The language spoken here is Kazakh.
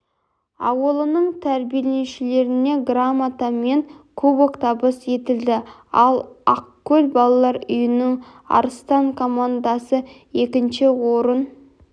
ауылының тәрбиеленушілеріне грамота мен кубок табыс етілді ал ақкөл балалар үйінің арыстан командасы екінші орын